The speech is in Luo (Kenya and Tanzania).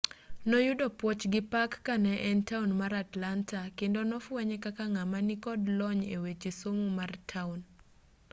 noyudo puoch gi pak kane en taon mar atlanta kendo nofwenye kaka ng'ama nikod lony eweche somo mar taon